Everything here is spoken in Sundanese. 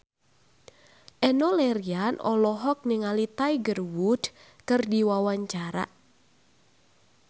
Enno Lerian olohok ningali Tiger Wood keur diwawancara